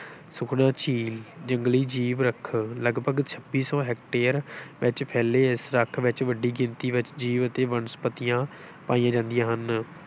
ਸੁਖਨਾ ਜੰਗਲੀ, ਜੀਵ ਰੱਖ ਲਗਭਗ ਛੱਤੀ ਸੌ ਹੇਕਟੇਅਰ ਵਿੱਚ ਫੈਲੇ ਇਸ ਰੱਖ ਵਿੱਚ ਵੱਡੀ ਗਿਣਤੀ ਵਿੱਚ ਜੀਵ ਅਤੇ ਬਨਸਪਤੀਆਂ ਪਾਈਆਂ ਜਾਂਦੀਆਂ ਹਨ।